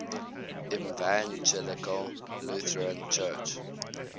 evangelical lutheran church